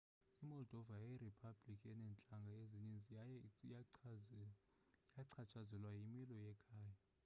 imoldova yiriphabliki eneentlanga ezininzi eye yachatshazelwa yimilo yekhaya